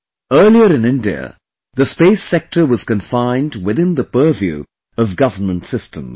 Earlier in India, the space sector was confined within the purview of government systems